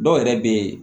Dɔw yɛrɛ be yen